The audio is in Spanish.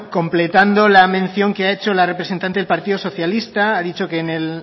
completando la mención que ha hecho la representante del partido socialista ha dicho que en el